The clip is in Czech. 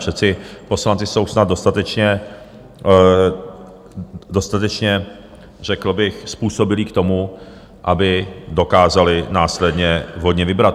Přece poslanci jsou snad dostatečně řekl bych způsobilí k tomu, aby dokázali následně vhodně vybrat.